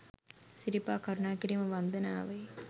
සිරිපා කරුණා කිරීම වන්දනාවේ